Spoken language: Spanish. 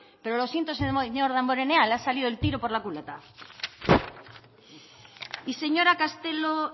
pero lo siento señor damborenea le ha salido el tiro por la culata y señora castelo